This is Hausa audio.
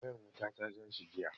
Wayan wuta ta ja shi jiya.